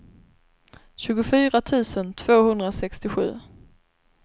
tjugofyra tusen tvåhundrasextiosju